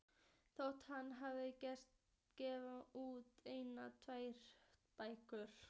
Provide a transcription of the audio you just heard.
Þótt hann hafi gefið út eina eða tvær bækur.